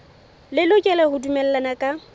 le lokela ho dumellana ka